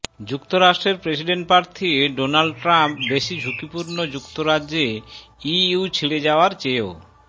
যুক্তরাষ্ট্রের প্রেসিডেন্ট প্রার্থী Donald Trump বেশি ঝুঁকিপূর্ণ যুক্তরাজ্যে ইইউ ছেড়ে যাওয়ার চেয়েও